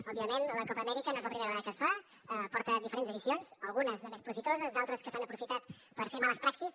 òbviament la copa amèrica no és la primera vegada que es fa porta diferents edicions algunes de més profitoses d’altres que s’han aprofitat per fer males praxis